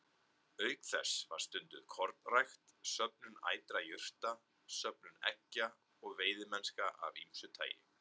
Auk þess var stunduð kornrækt, söfnun ætra jurta, söfnun eggja og veiðimennska af ýmsu tagi.